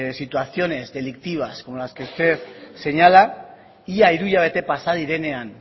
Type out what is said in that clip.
situaciones delictivas como las que usted señala ia hiru hilabete pasa direnean